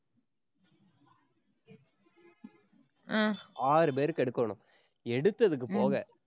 ஆறு பேருக்கு எடுக்கோணும். எடுத்ததுக்கு போக,